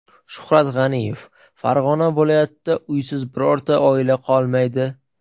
Shuhrat G‘aniyev: Farg‘ona viloyatida uysiz birorta oila qolmaydi.